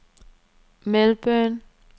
Melbourne